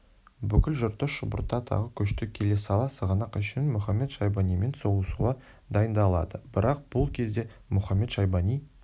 бүкіл жұртты шұбырта тағы көшті келе сала сығанақ үшін мұхамед-шайбанимен соғысуға дайындалды бірақ бұл кезде мұхамед-шайбани